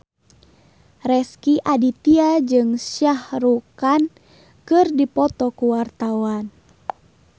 Rezky Aditya jeung Shah Rukh Khan keur dipoto ku wartawan